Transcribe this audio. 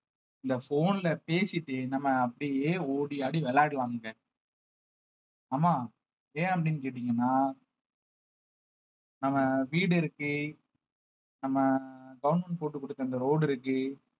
இந்த phone ல பேசிட்டு நம்ம அப்படியே ஓடி ஆடி விளையாடுவாங்க ஆமா ஏன் அப்படின்னு கேட்டீங்கன்னா நம்ம வீடு இருக்கு நம்ம government போட்டுக் கொடுத்த அந்த road இருக்கு